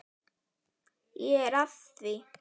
Ég er að því.